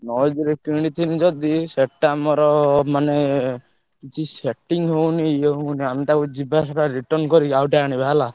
Noise ରେ କିଣିଥିଲି ଯଦି ସେ ଟା ମୋର ମାନେ କିଛି setting ହଉନି ଇଏ ହଉନି ଆମେ ତାକୁ ଯିବା ସେଟା return କରି ଆଉଗୋଟେ ଆଣିବା ହେଲା।